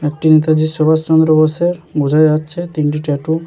এটি নেতাজি সুভাষচন্দ্র বোসের বোঝা যাচ্ছে তিনটি ট্যাটু ।